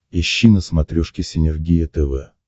ищи на смотрешке синергия тв